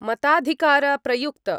मताधिकार प्रयुक्त।